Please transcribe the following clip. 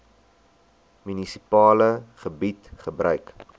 munisipale gebied gebruik